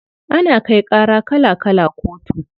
Ana kai ƙara kala kala kotu.